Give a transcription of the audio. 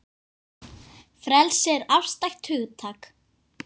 Frelsi er afstætt hugtak